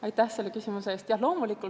Aitäh selle küsimuse eest!